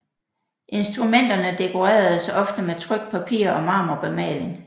Instrumenterne dekoreredes ofte med trykt papir og marmorbemaling